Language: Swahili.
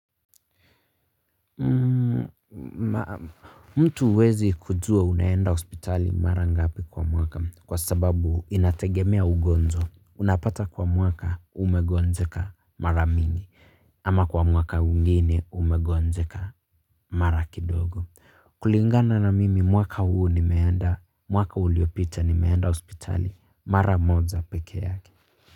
Mtu wezi kujua unaenda hospitali mara ngapi kwa mwaka kwa sababu inategemea ugonjwa. Unapata kwa mwaka umegonjeka mara mingi ama kwa mwaka mwingine umegonjeka mara kidogo. Kulingana na mimi mwaka huu ni nmeenda mwaka uliopita nimeenda hospitali mara moja peke yake.